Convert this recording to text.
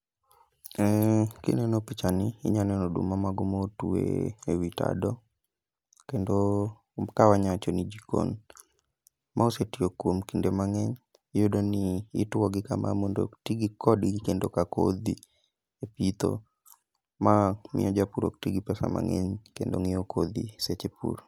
Kineno picha ni, inya neno oduma mago ma otwe ewi tado, kendo ka wanya wacho ni jikon. Ma osetiyo kuom kinde mang'eny, iyudo ni ituogi kama mondo tigi kodgi kendo ka kodhi e pitho. Ma miyo japur ok ti gi pesa mang'eny kendo ng'iewo kodho seche pur.